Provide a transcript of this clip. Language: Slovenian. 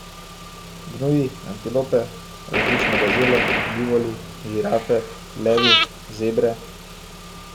Gnuji, antilope, različne gazele, bivoli, žirafe, levi, zebre ...